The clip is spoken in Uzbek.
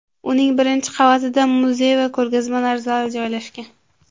Uning birinchi qavatida muzey va ko‘rgazmalar zali joylashgan.